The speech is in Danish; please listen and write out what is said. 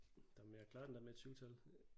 Der men jeg klarede den da med et 7 tal